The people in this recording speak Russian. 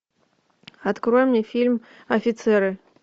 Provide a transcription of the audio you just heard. открой мне фильм офицеры